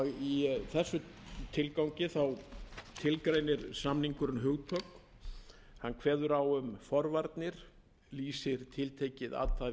í þessum tilgangi tilgreinir samningurinn hugtök hann kveður á um forvarnir lýsir tiltekið athæfi refsivert í honum eru